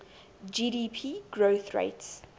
gdp growth rates